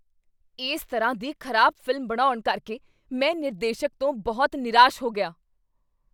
ਇਸ ਤਰ੍ਹਾਂ ਦੀ ਖ਼ਰਾਬ ਫ਼ਿਲਮ ਬਣਾਉਣ ਕਰਕੇ ਮੈ ਨਿਰਦੇਸ਼ਕ ਤੋਂ ਬਹੁਤ ਨਿਰਾਸ਼ ਹੋ ਗਿਆ।